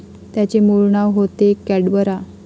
याचे मूळ नाव होते कॅडबरा.